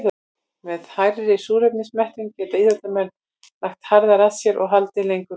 Með hærri súrefnismettun geta íþróttamenn lagt harðar að sér og haldið lengur út.